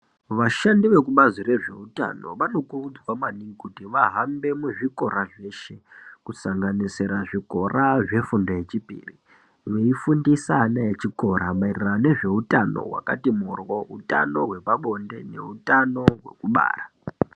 Vashandi vekubazi rezveutano vanokurudzirwa maningi kuti vahambe muzvikora zveshe, kusanganisira zvikora zvefundo yechipiri. Veifundisa ana echikora maererano nezveutano vakati moryo kuutano hwepabonde neutano hwekubara.